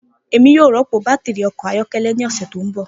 Emi yoo rọpo batiri ọkọ ayọkẹlẹ ni ọsẹ to nbọ